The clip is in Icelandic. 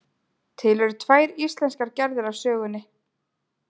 Til eru tvær íslenskar gerðir af sögunni.